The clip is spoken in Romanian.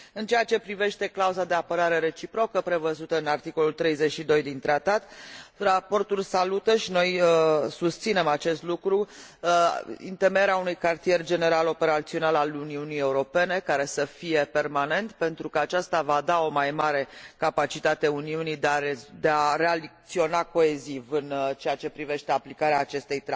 În ceea ce privește clauza de apărare reciprocă, prevăzută în articolul 32 din tratat, raportul salută și noi susținem acest lucru întemeierea unui cartier general operațional al Uniunii Europene, care să fie permanent, pentru că aceasta va da o mai mare capacitate Uniunii de a reacționa coeziv în ceea ce privește aplicarea acestei